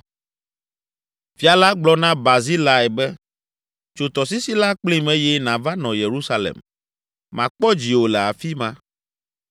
Fia la gblɔ na Barzilai be, “Tso tɔsisi la kplim eye nàva nɔ Yerusalem; makpɔ dziwò le afi ma.”